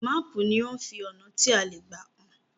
Máàpù ní o fí ọnà tí a lẹ gbà hàn